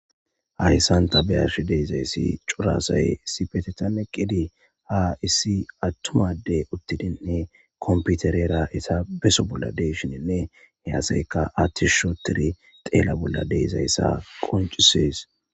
Ahyssanta beyarshi deezayssi curasay issi petetanneqqidi haa issi attumade uttidinhe komputerera eta beso bolla deyshininne he aseyka attis sho tiri teela bolla deizayssa qoncisees.